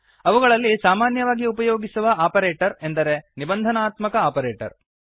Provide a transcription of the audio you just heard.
ಅವುಗಳಲ್ಲಿ ಸಾಮಾನ್ಯವಾಗಿ ಉಪಯೋಗಿಸುವ ಆಪರೇಟರ್ ಎಂದರೆ ನಿಬಂಧನಾತ್ಮಕ ಆಪರೇಟರ್